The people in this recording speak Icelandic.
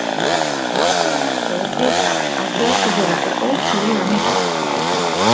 Aftur á móti er vitað að fjöldi þeirra er ótrúlega mikill.